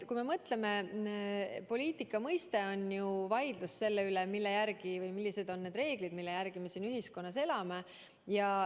Kui me mõtleme, mis üldse on poliitika, siis see on vaidlus selle üle, millised on need reeglid, mille järgi me ühiskonnas elame.